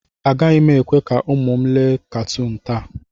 Agaghị m ekwe ka ụmụ m lee katuun taa.